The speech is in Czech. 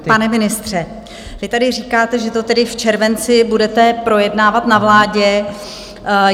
Tak pane ministře, vy tady říkáte, že to tedy v červenci budete projednávat na vládě.